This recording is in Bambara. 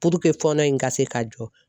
Puruke fɔnɔ in ka se ka jɔ